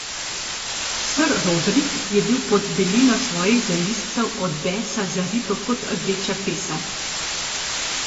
Ser Rodrik je bil pod belino svojih zalizcev od besa zaripel kot rdeča pesa.